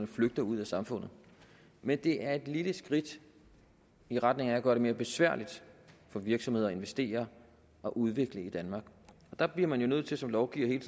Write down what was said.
flygter ud af samfundet men det er et lille skridt i retning af at gøre det mere besværligt for virksomheder at investere og udvikle i danmark og der bliver man nødt til som lovgiver hele